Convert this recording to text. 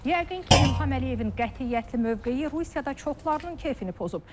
Yəqin ki, İlham Əliyevin qətiyyətli mövqeyi Rusiyada çoxlarının kefini pozub.